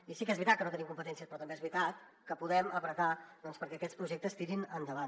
i sí que és veritat que no hi tenim competències però també és veritat que podem apretar perquè aquests projectes tirin endavant